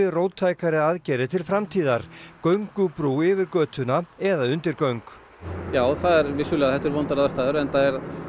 róttækari aðgerðir til framtíðar göngubrú yfir götuna eða undirgöng já það er vissulega þetta eru vondar aðstæður enda